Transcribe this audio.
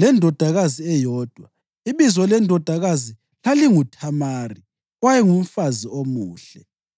lendodakazi eyodwa. Ibizo lendodakazi lalinguThamari, owayengumfazi omuhle.